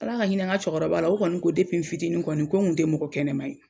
Ala ka hinɛ n ka cɛkɔrɔba la, o kɔni ko n fitinin kɔni ko n tɛ mɔgɔ kɛnɛma ye.